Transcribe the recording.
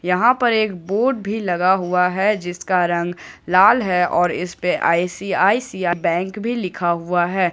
यहां पर एक बोर्ड भी लगा हुआ है जिसका रंग लाल है और इस पे आई_सी_आई_सी_आई बैंक भी लिखा हुआ हैं।